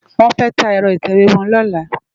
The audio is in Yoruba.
Wòn fè tá èrò itèwé wòn lòlá